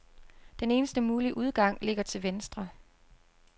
Den eneste mulige udgang ligger til venstre.